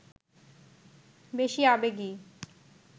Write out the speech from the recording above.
বেশি আবেগী